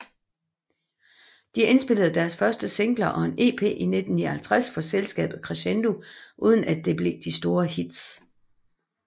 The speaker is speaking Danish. De indspillede deres første singler og en EP i 1959 for selskabet Crescendo uden at det blev de store hits